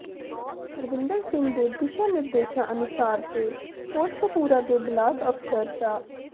ਹਰਵਿੰਦਰ ਸਿੰਘ ਦੇ ਦਿਸ਼ਾ ਨਿਰਦੇਸ਼ਾ ਅਨੁਸਾਰ ਤੇ ਕੋਟਕਪੁੂਰਾ ਦੇ ਬਲਾਕ ਅਫਸਰ ਡਾ